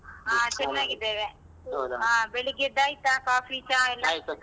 ಹಾ ಚನಾಗಿದ್ದೇವೆ ಹ ಬೆಳಿಗೆದ್ದ್ ಆಯ್ತಾ ಕಾಫಿ, ಚಾ ಎಲ್ಲ.